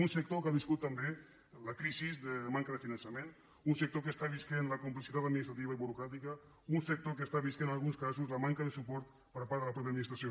un sector que ha viscut també la crisi de manca de finançament un sector que està vivint la complexitat administrativa i burocràtica un sector que està vivint en alguns casos la manca de suport per part de la mateixa administració